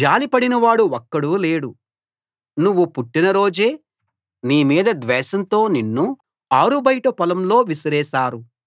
జాలి పడినవాడు ఒక్కడూ లేడు నువ్వు పుట్టిన రోజే నీ మీద ద్వేషంతో నిన్ను ఆరుబయట పొలంలో విసిరేశారు